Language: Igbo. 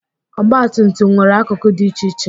Ọgbatumtum nwere akụkụ dị iche iche.